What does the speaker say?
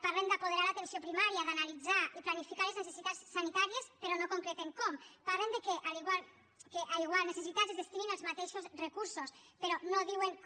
parlem d’apoderar l’atenció primària d’analitzar i planificar les necessitats sanitàries però no concreten com parlen que a iguals necessitats es destinin els mateixos recursos però no diuen com